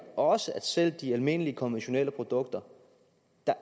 også at for selv de almindelige konventionelle produkter